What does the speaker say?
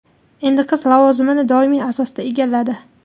Endi qiz lavozimni doimiy asosda egalladi.